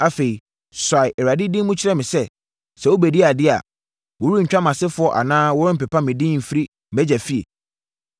Afei mahunu sɛ, deɛ ɛbɛyɛ biara, wɔbɛsi wo ɔhene, na Israel ahemman no bɛdi yie wɔ wo pɛn so.